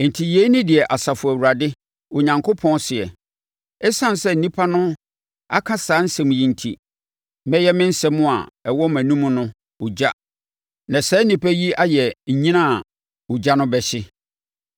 Enti yei ne deɛ Asafo Awurade, Onyankopɔn seɛ: “Esiane sɛ nnipa no aka saa nsɛm yi enti, mɛyɛ me nsɛm a ɛwɔ wʼanomu no ogya na saa nnipa yi ayɛ nnyina a ogya no bɛhye.